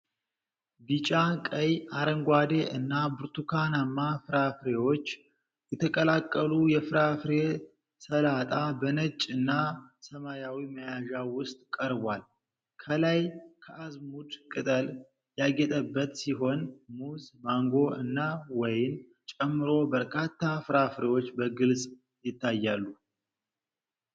ቢጫ፣ ቀይ፣ አረንጓዴ እና ብርቱካንማ ፍራፍሬዎች የተቀላቀሉ የፍራፍሬ ሰላጣ በነጭ እና ሰማያዊ መያዣ ውስጥ ቀርቧል። ከላይ ከአዝሙድ ቅጠል ያጌጠበት ሲሆን፤ ሙዝ፣ ማንጎ እና ወይን ጨምሮ በርካታ ፍራፍሬዎች በግልጽ ይታያሉ።